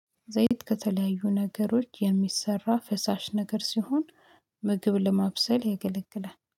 ዘይት ከተለያዩ ነገሮች የሚሰራ ፈሳሽ ነገር ሲሆን። ምግብ ለማብሰል ያገለግላል